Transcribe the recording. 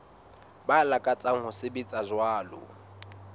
ba lakatsang ho sebetsa jwalo